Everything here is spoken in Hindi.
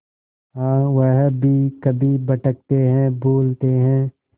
हाँ वह भी कभी भटकते हैं भूलते हैं